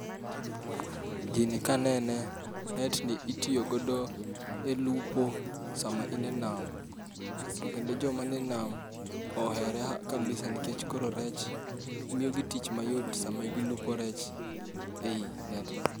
Gini kanene net ni itiyo godo elupo sama in e nam. To kendo joma nie nam ohere kabisa nikech koro rech miyo gi tich mayot kabisa sama gilupo rech ei nedno.